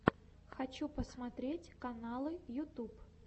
хочу посмотреть каналы ютуб